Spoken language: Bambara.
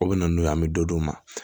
O bɛ na n'o ye an bɛ dɔ d'u ma